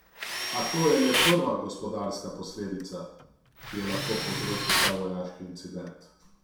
A to je le prva gospodarska posledica, ki jo lahko povzroči ta vojaški incident.